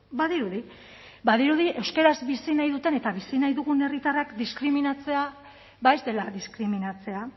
badirudi badirudi euskaraz bizi nahi duten eta bizi nahi dugun herritarrak diskriminatzea ez dela diskriminatzea